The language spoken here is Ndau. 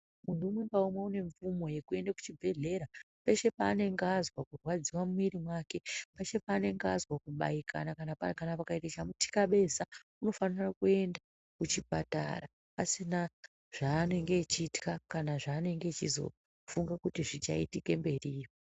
Muntu umwe ngaumwe une mvumo yekuenda kuchibhedhlera ,peshe paanenge azwa kurwadziwa mumwiri mwake, peshe paanenge azwa kubaikana kana pakaita chamuthikabeza anofanira kuenda kuchipatara ,asina zvaanenge achitywa kana zvaanenge achizofunga kuti zvichaitika mberiyo.